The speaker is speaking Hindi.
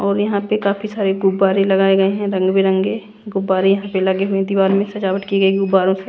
और यहां पे काफी सारे गुब्बारे लगाए गए हैं रंग बिरंगे गुब्बारे यहां पे लगे हुए हैं दीवार में सजावट की गई गुबारों से--